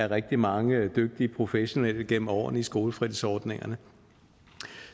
rigtig mange dygtige professionelle igennem årene i skolefritidsordningerne